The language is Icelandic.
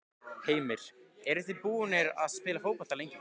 Heimir: Eruð þið búnir að spila fótbolta lengi?